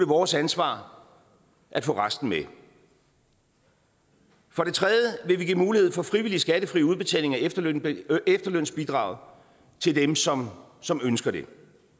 vores ansvar at få resten med for det tredje vil vi give mulighed for frivillig skattefri udbetaling af efterlønsbidraget efterlønsbidraget til dem som som ønsker det